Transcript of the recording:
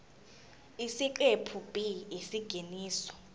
isiqephu b isingeniso